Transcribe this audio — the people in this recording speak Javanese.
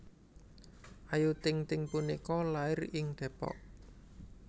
Ayu Ting Ting punika lair ing Depok